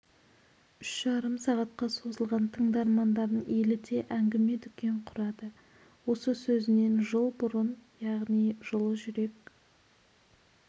үш жарым сағатқа созылған тыңдармандарын еліте әңгіме-дүкен құрады осы сөзінен жыл бұрын яғни жылы жүрек